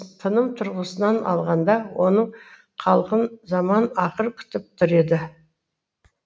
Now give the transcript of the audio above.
тыным тұрғысынан алғанда оның халқын заман ақыр күтіп тұр еді